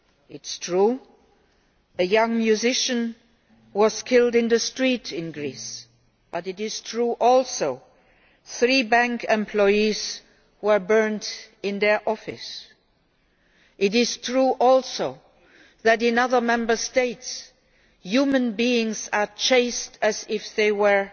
It is true that a young musician was killed in the street in Greece, but it is also true that three bank employees were burned in their office. It is also true that in other Member States, human beings are chased as if they were